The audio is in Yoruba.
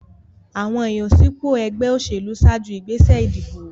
Àwọn ìyànsípò ẹgbẹ́ òṣèlú ṣáájú ìgbésẹ̀ ìdìbò.